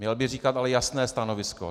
Měl by ale říkat jasné stanovisko.